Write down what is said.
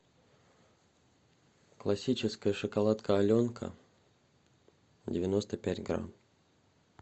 классическая шоколадка аленка девяносто пять грамм